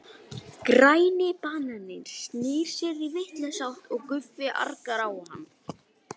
Græni bananinn snýr sér í vitlausa átt og Guffi argar á hann.